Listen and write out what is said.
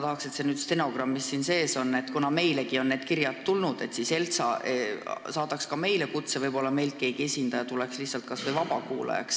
Tahaksin, et see soov ka stenogrammis sees oleks: kuna meilegi on need kirjad tulnud, siis me soovime, et ELTSA saadaks ka meile kutse, et meilt keegi esindaja kohale läheks kas või vabakuulajaks.